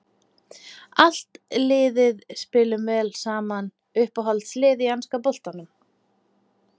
Allt liðið spilum vel saman Uppáhalds lið í enska boltanum?